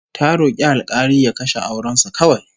Ta rok'i alk'ali ya kashe auren su kawai